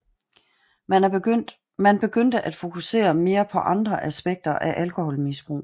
Man begyndte at fokusere mere på andre aspekter af alkoholmisbrug